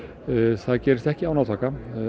það gerist ekki án átaka